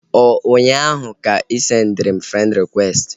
Ọ ụnyaahụ ka ị sendịrị m frend rịkwesti?